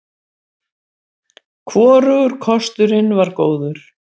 Hvorugur kosturinn var góður.